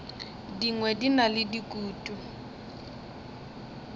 dingwe di na le dikutu